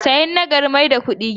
Sayan na gari mai da kudi gida.